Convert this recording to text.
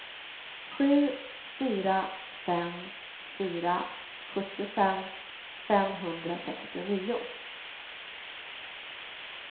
sju fyra fem fyra sjuttiofem femhundrasextionio